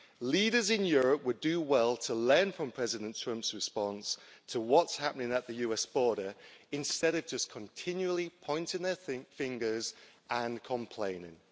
Leaders in Europe would do well to learn from President Trump's response to what's happening at the US border instead of just continually pointing their fingers and complaining.